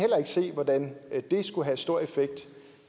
se hvordan det skulle have stor effekt